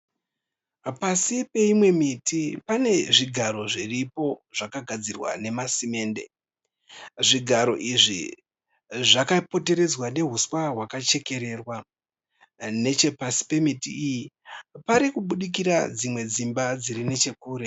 Pasi peimwe miti pane zvigaro zviripo zvakagadzirwa nemasimende. Zvigaro izvi zvakapoteredzwa nehuswa hwakachekererwa. Nechepasi pemiti iyi parikubudikira dzimwe dzimba dziri nechekure.